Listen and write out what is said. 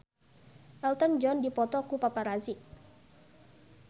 Elton John dipoto ku paparazi